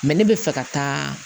ne bɛ fɛ ka taa